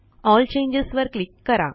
L changes वर click करा